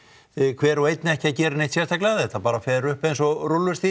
hver og einn ekki að gera neitt sérstaklega þetta bara fer upp eins og rúllustigi